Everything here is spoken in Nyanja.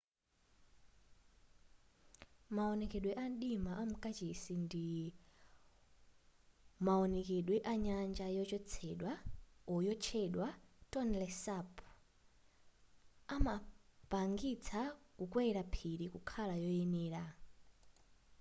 maonekedwe a mdima amukachisi ndi mawonekedwe a nyanja yotchedwa tonle sap amapangitsa kukwela phiri kukhala koyenela